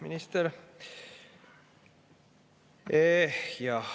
Minister!